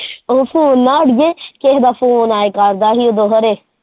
ਉਹ phone ਨਾ ਅੜੀਏ ਕਿਸੇ ਦਾ ਫੋਨ ਆਇਆ ਕਰਦਾ ਸੀ ।